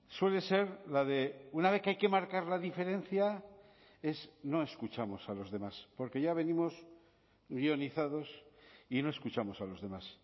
suele ser la de una vez que hay que marcar la diferencia es no escuchamos a los demás porque ya venimos guionizados y no escuchamos a los demás